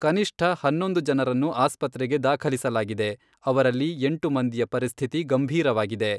ಕನಿಷ್ಠ ಹನ್ನೊಂದು ಜನರನ್ನು ಆಸ್ಪತ್ರೆಗೆ ದಾಖಲಿಸಲಾಗಿದೆ, ಅವರಲ್ಲಿ ಎಂಟು ಮಂದಿಯ ಪರಿಸ್ಥಿತಿ ಗಂಭೀರವಾಗಿದೆ.